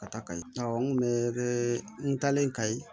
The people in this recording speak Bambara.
Ka taa kayi awɔ n kun bɛ kɛ n taalen ka ye